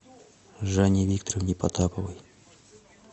жанне викторовне потаповой